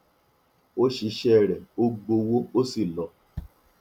ó ṣiṣẹ rẹ ó gbowó ó sì lọ